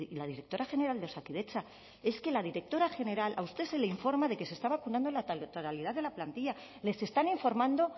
la directora general de osakidetza es que la directora general a usted se le informa de que se está vacunando la totalidad de la plantilla les están informando